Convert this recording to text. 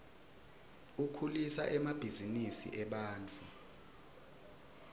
ukhulisa emabhzinisi ebantfu